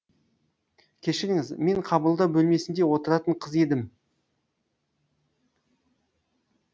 кешіріңіз мен қабылдау бөлмесінде отыратын қыз едім